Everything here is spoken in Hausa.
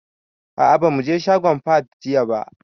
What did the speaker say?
A'a ba mu je shagon Fahad jiya ba.